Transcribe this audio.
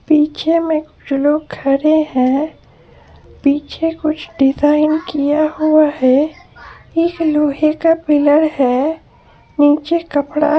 पीछे में कुछ लोग खड़े हैपीछे कुछ डिज़ाइन किया हुआ है एक लोहे का पिलर है नीचे कपड़ा----